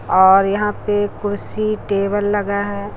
और यहां पे कुर्सी टेबल लगा है।